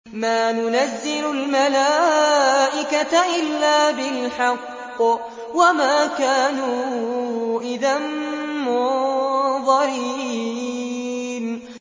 مَا نُنَزِّلُ الْمَلَائِكَةَ إِلَّا بِالْحَقِّ وَمَا كَانُوا إِذًا مُّنظَرِينَ